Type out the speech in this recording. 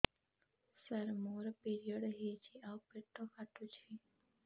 ସାର ମୋର ପିରିଅଡ଼ ହେଇଚି ଆଉ ପେଟ କାଟୁଛି